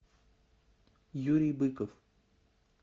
юрий быков